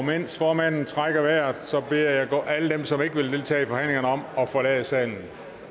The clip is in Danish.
mens formanden trækker vejret beder jeg alle dem som ikke vil deltage i forhandlingerne om at forlade salen